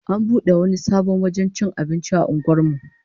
An bude wani sabon wajen cin abinci a unguwar mu